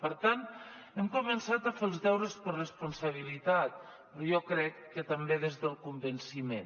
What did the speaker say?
per tant hem començat a fer els deures per responsabilitat però jo crec que també des del convenciment